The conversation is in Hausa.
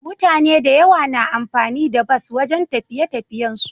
Mutane da yawa na amfani da bus wajan tafiye tafiyen su